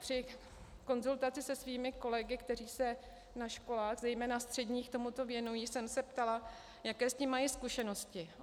Při konzultaci se svými kolegy, kteří se na školách, zejména středních, tomu věnují, jsem se ptala, jaké s tím mají zkušenosti.